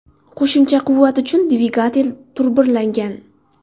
Qo‘shimcha quvvat uchun dvigatel turbirlangan.